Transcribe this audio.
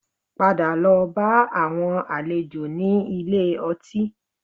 Padà lọ bá àwọn àlejò ní ilé ọtí